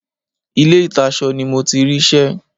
Ilé ìtasọ ni mo ti rí ṣẹ́.